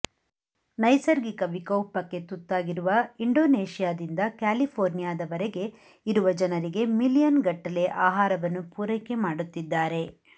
ನೈಸರ್ಗಿಕ ವಿಕೋಪಕ್ಕೆ ತುತ್ತಾಗಿರುವ ಇಂಡೋನೇಶಿಯಾದಿಂದ ಕ್ಯಾಲಿಫೋರ್ನಿಯಾದವರೆಗೆ ಇರುವ ಜನರಿಗೆ ಮಿಲಿಯನ್ ಗಟ್ಟಲೆ ಆಹಾರವನ್ನು ಪೂರೈಕೆ ಮಾಡುತ್ತಿದ್ದಾರೆ